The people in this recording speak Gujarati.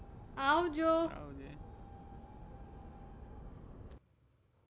આવજો. આવજે.